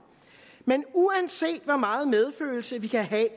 men uanset hvor meget medfølelse vi kan have